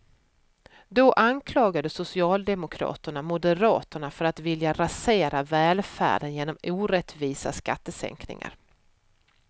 Då anklagade socialdemokraterna moderaterna för att vilja rasera välfärden genom orättvisa skattesänkningar.